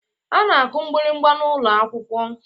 A na-akụ mgbịrịgba n'ụlọ akwụkwọ